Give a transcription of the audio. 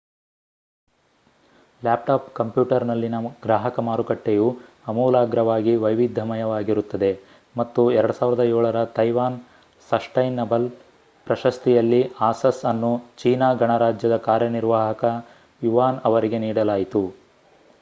laptop ಕಂಪ್ಯೂಟರ್‌ನಲ್ಲಿನ ಗ್ರಾಹಕ ಮಾರುಕಟ್ಟೆಯು ಆಮೂಲಾಗ್ರವಾಗಿ ವೈವಿಧ್ಯಮಯವಾಗಿರುತ್ತದೆ ಮತ್ತು 2007 ರ ತೈವಾನ್ ಸಸ್ಟೈನಬಲ್ ಪ್ರಶಸ್ತಿಯಲ್ಲಿ ಆಸಸ್ ಅನ್ನು ಚೀನಾ ಗಣರಾಜ್ಯದ ಕಾರ್ಯನಿರ್ವಾಹಕ ಯುವಾನ್ ಅವರಿಗೆ ನೀಡಲಾಯಿತು